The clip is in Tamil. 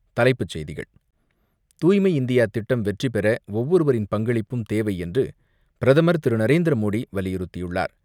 தலைப்புச் செய்திகள் தூய்மை இந்தியா திட்டம் வெற்றி பெற ஒவ்வொருவரின் பங்களிப்பும் தேவை என்று பிரதமர் திரு நரேந்திர மோடி வலியுறுத்தியுள்ளார்.